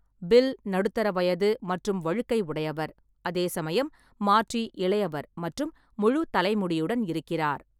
Bill நடுத்தர வயது மற்றும் வழுக்கை உடையவர், அதே சமயம் மார்ட்டி இளையவர் மற்றும் முழு தலை முடியுடன் இருக்கிறார்.